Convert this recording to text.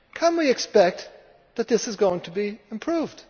Can we expect that this is going to be improved?